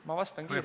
Ma vastan kiirelt.